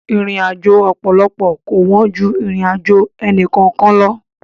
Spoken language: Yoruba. Ìrìnàjò ọ̀pọ̀lọpọ̀ kò wọ́n ju ìrìnàjò ẹnì kọ̀ọ̀kan lọ.